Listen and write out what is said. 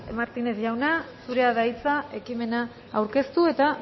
martínez jauna zurea da hitza ekimena aurkeztu eta